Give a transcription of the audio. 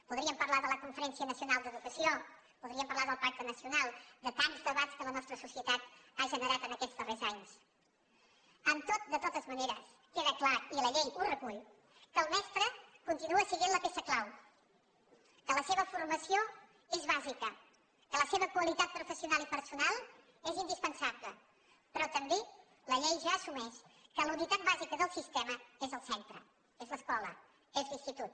podríem parlar de la conferència nacional d’educació podríem parlar del pacte nacional de tants debats que la nostra societat ha generat en aquests darrers anys amb tot de totes maneres queda clar i la llei ho recull que el mestre continua sent la peça clau que la seva formació és bàsica que la seva qualitat professional i personal és indispensable però també la llei ja assumeix que la unitat bàsica del sistema és el centre és l’escola és l’institut